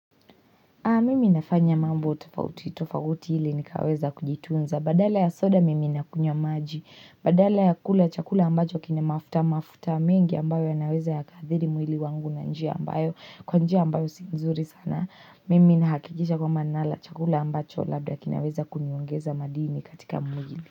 Mimi nafanya mambo tofauti. Tofauti ili nikaweza kujitunza. Badala ya soda mimi na kunywa maji. Badala ya kula chakula ambacho kina mafuta mafuta mengi ambayo ya naweza yakaadhiri mwili wangu na njia ambayo kwa njia ambayo si nzuri sana. Mimi nahakikisha kwamba nala chakula ambacho labda kinaweza kuniongeza madini katika mwili.